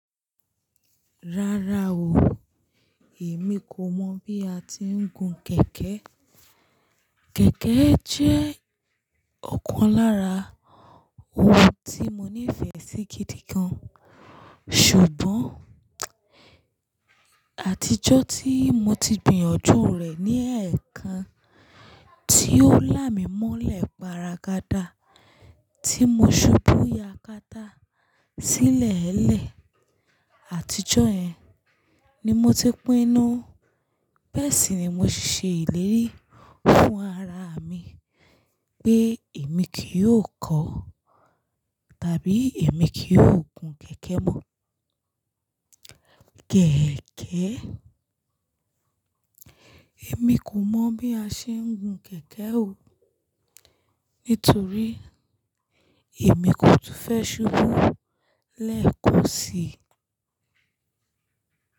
Rárá o, èmi kò mọ̀ bí a ti ń gun kẹ̀kẹ́. Kẹ̀kẹ́ jẹ́ ọ̀kan lára ohun tí mo nífẹ̀ẹ́ sí gidi gan, ṣùgbọ́n àtijọ́ tí mo ti gbìyànjú rẹ̀ ní ẹ̀ẹ̀kan tí ó là mí mọ́lẹ̀ paragada tí mo ṣubú yakata sílẹ̀ẹ́lẹ̀. Àtijọ́ yẹn ni mo ti pínu. Bẹ́ẹ̀ sì ni mo ṣiṣẹ́ ìlérí fún ara mi pé èmi kì yóò kọ́ tàbí èmi kì yóò gun kẹ̀kẹ́ mọ́. Kẹ̀ẹ̀kẹ́, èmi kò mọ̀ bí a ṣe ń gun kẹ̀kẹ́ o, nítorí èmi kò túń fẹ́ ṣubú lẹ́ẹ̀kan sí i.